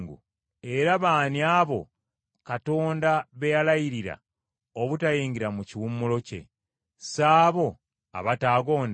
Era baani abo Katonda be yalayirira obutayingira mu kiwummulo kye? Si abo abataagonda?